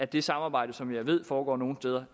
det samarbejde som jeg ved foregår nogle steder